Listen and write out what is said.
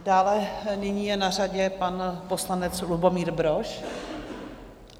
Dále nyní je na řadě pan poslanec Lubomír Brož.